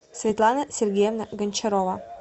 светлана сергеевна гончарова